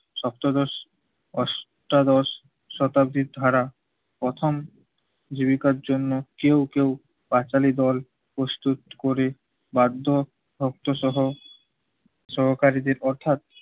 সপ্তদশ, অষ্টাদশ শতাব্দীর ধারা প্রথম জীবিকার জন্য কেউ কেউ পাঁচালী দল প্রস্তুত করে বাধ্য শব্দ সহ সহকারীদের অর্থাৎ